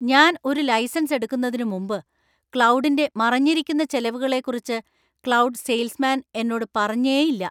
ഞാൻ ഒരു ലൈസൻസ് എടുക്കുന്നതിനു മുമ്പ് ക്ലൗഡിന്‍റെ മറഞ്ഞിരിക്കുന്ന ചെലവുകളെക്കുറിച്ച് ക്ലൗഡ് സെയിൽസ്മാൻ എന്നോട് പറഞ്ഞേയില്ല.